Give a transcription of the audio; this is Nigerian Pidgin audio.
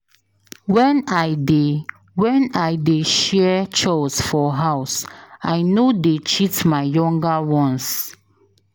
Wen I dey Wen I dey share chores for house, I no dey cheat my younger ones.